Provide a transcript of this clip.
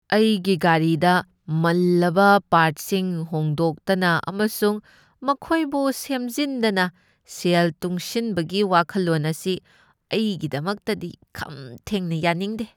ꯑꯩꯒꯤ ꯒꯥꯔꯤꯗ ꯃꯜꯂꯕ ꯄꯥꯔꯠꯁꯤꯡ ꯍꯣꯡꯗꯣꯛꯇꯅ ꯑꯃꯁꯨꯡ ꯃꯈꯣꯏꯕꯨ ꯁꯦꯝꯖꯤꯟꯗꯅ ꯁꯦꯜ ꯇꯨꯡꯁꯤꯟꯕꯒꯤ ꯋꯥꯈꯜꯂꯣꯟ ꯑꯁꯤ ꯑꯩꯒꯤꯗꯃꯛꯇꯗꯤ ꯈꯝ ꯊꯦꯡꯅ ꯌꯥꯅꯤꯡꯗꯦ ꯫